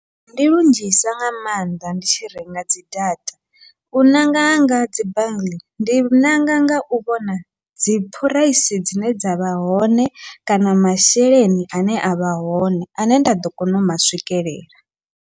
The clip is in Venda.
Ndi lunzhisa nga maanḓa ndi tshi renga dzi data, u ṋanga hanga dzi ndi nanga ngau vhona dzi phuraisi dzine dzavha hone kana masheleni ane avha hone ane nda ḓo kona u ma swikelela.